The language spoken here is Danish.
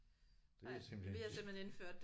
Det er simpelthen